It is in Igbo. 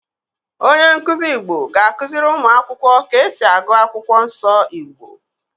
Onye nkuzi Igbo ga-akụziri ụmụ akwụkwọ ka esi agụ Akwụkwọ Nsọ Igbo.